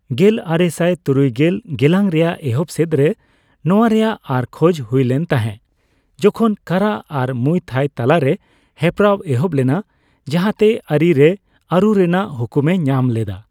ᱜᱮᱞᱟᱨᱮᱥᱟᱭ ᱛᱩᱨᱩᱭᱜᱮᱞ ᱜᱮᱞᱟᱝ ᱨᱮᱭᱟᱜ ᱮᱦᱚᱵ ᱥᱮᱫ ᱨᱮ ᱱᱚᱣᱟ ᱨᱮᱭᱟᱜ ᱟᱨ ᱠᱷᱚᱡᱽ ᱦᱩᱭᱞᱮᱱ ᱛᱟᱦᱮᱸ, ᱡᱚᱠᱷᱚᱱ ᱠᱟᱨᱟ ᱟᱨ ᱢᱩᱭ ᱛᱷᱟᱭ ᱛᱟᱞᱟ ᱨᱮ ᱦᱮᱯᱨᱟᱣ ᱮᱦᱚᱵ ᱞᱮᱱᱟ, ᱡᱟᱦᱟᱸ ᱛᱮ ᱟᱹᱨᱤ ᱨᱮ ᱟᱹᱨᱩ ᱨᱮᱱᱟᱜ ᱦᱩᱠᱩᱢᱮ ᱧᱟᱢ ᱞᱮᱫᱼᱟ ᱾